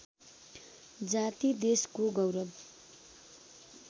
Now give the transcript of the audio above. जाति देशको गौरव